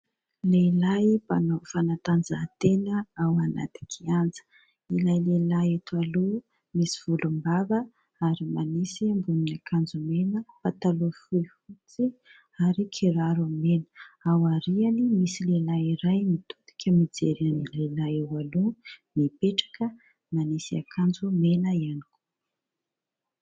Lehilahy mpanao fanatanjahantena ao anaty kianja. Ilay lehilahy eto aloha misy volombava ary manisy ambonin'akanjo mena, pataloha fohy fotsy ary kiraro mena. Ao aoriany misy lehilahy iray mitodika mijery ny lehilahy eo aloha, mipetraka manisy akanjo mena ihany koa.